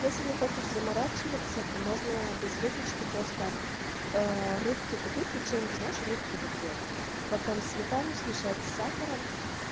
если не хочешь заморачиваться то можно без выпечки просто аа рыбки купить печеньки знаешь рыбки такие потом сметану смешать с сахаром